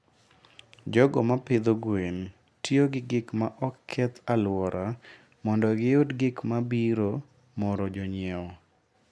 jogo ma pidho gwen tiyo gi gik ma ok keth alwora mondo giyud gik ma biro moro jonyiewo.